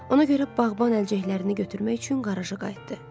Ona görə bağban əlcəklərini götürmək üçün qaraja qayıtdı.